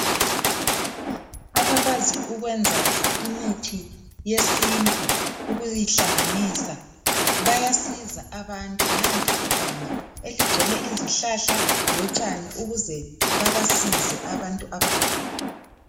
Abakwasi ukwenza imithi yesintu ukuyihlanganisa bayasiza abantu nanti iganga eligcwele izihlahla lotshani ukuze babasize abantu abagulayo.